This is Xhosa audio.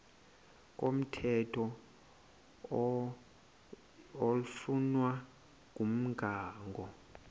komthetho oflunwa ngumgago